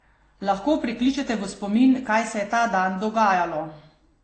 Lahko prikličete v spomin, kaj se je ta dan dogajalo?